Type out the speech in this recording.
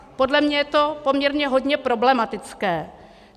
Podle mě je to poměrně hodně problematické.